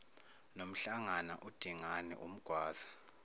nomhlangana udingane umgwaza